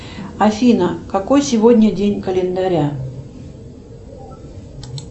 афина какой сегодня день календаря